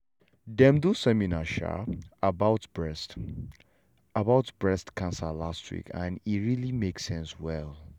dem do seminar um about breast about breast cancer last week and e really make sense well.